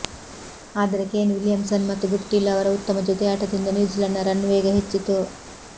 ಆದರೆ Kane Williamson ಮತ್ತು Guptill ಅವರ ಉತ್ತಮ ಜೊತೆಯಾಟದಿಂದ ನ್ಯೂಜಿಲೆಂಡ್ ರನ್ ವೇಗ ಹೆಚ್ಚಿತು